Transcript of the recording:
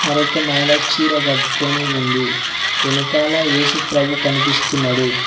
మరొక మహిళ చీర కట్టుకొని ఉంది వెనకాల ఏసుప్రభు కనిపిస్తున్నాడు.